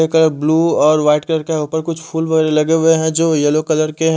colour blue और white colour के ऊपर कुक फूल लगे हुए है जो येलो कलर के --